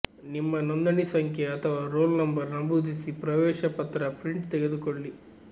ನಿಮ್ಮ ನೋಂದಣಿ ಸಂಖ್ಯೆ ಅಥವಾ ರೋಲ್ ನಂಬರ್ ನಮೂದಿಸಿ ಪ್ರವೇಶ ಪತ್ರ ಪ್ರಿಂಟ್ ತೆಗೆದುಕೊಳ್ಳಿ